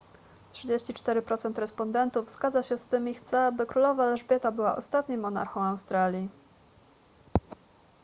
34 procent respondentów zgadza się z tym i chce by królowa elżbieta była ostatnim monarchą australii